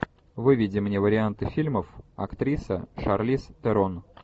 выведи мне варианты фильмов актриса шарлиз терон